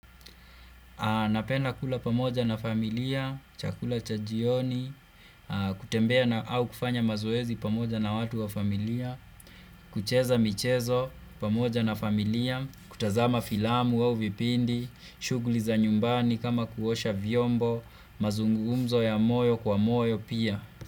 Napenda kula pamoja na familia, chakula cha jioni, kutembea na au kufanya mazoezi pamoja na watu wa familia, kucheza michezo pamoja na familia, kutazama filamu au vipindi, shughuli za nyumbani kama kuosha vyombo, mazungumzo ya moyo kwa moyo pia.